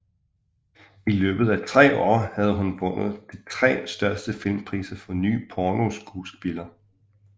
I løbet af tre år havde hun vundet de tre største filmpriser for nye pornoskuespillere